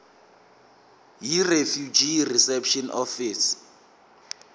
yirefugee reception office